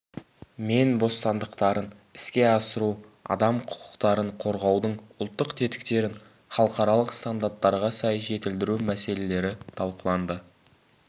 мен бостандықтарын іске асыру адам құқықтарын қорғаудың ұлттық тетіктерін халықаралық стандарттарға сай жетілдіру мәселелері талқыланды